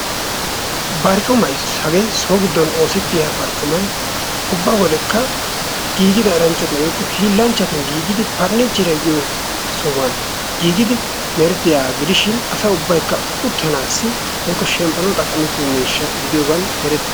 barccumay hagee so gidon utanawu maadiya barccumay funiicheriya giyosan giigigiyaga gidishin asa ubbaykka uttanwu woykko shempanawu maadiya miishsha gidiyooge eretees.